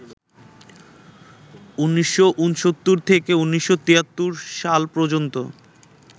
১৯৬৯ থেকে ১৯৭৩ সাল পর্যন্ত